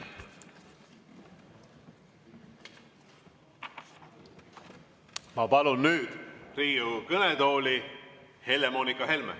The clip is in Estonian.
Ma palun nüüd Riigikogu kõnetooli Helle‑Moonika Helme.